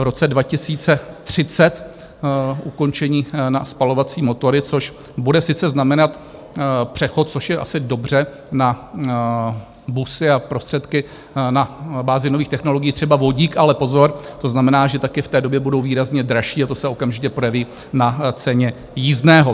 V roce 2030 ukončení na spalovací motory, což bude sice znamenat přechod, což je asi dobře na busy a prostředky na bázi nových technologií, třeba vodík, ale pozor, to znamená, že taky v té době budou výrazně dražší, a to se okamžitě projeví na ceně jízdného.